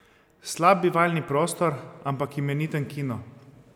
Slab bivalni prostor, ampak imeniten kino.